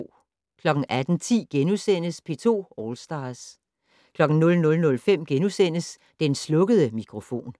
18:10: P2 All Stars * 00:05: Den slukkede mikrofon *